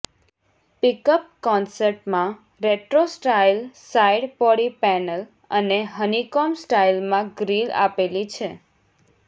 pickup કોન્સેપ્ટમાં retro style side body panel અને honeycomb સ્ટાઈલમાં ગ્રિલ આપેલી છે